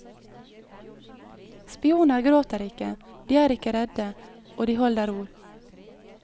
Spioner gråter ikke, de er ikke redde, og de holder ord.